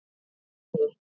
Benný